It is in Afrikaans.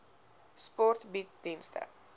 sport bied dienste